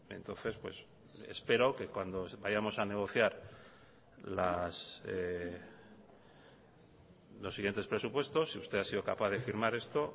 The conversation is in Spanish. entonces espero que cuando vayamos a negociar los siguientes presupuestos si usted ha sido capaz de firmar esto